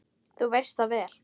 Þú veist það vel!